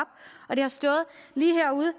og de har stået lige herude